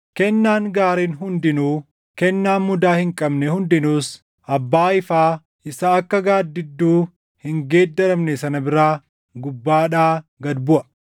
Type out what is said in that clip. Kennaan gaariin hundinuu, kennaan mudaa hin qabne hundinuus Abbaa ifaa isa akka gaaddidduu hin geeddaramne sana biraa gubbaadhaa gad buʼa.